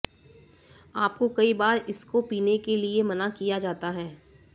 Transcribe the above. आपको कई बार इसको पीने के लिए मना किया जाता है